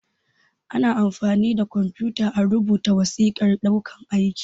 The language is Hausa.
Ana amfani da kwamfuta a rubuta wasiƙan ɗaukan aiki